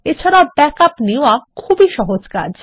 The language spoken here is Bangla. এছাড়াও ব্যাকআপ নেওয়া খুবই সহজ কাজ